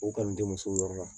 O kanu tɛ musow yɔrɔ la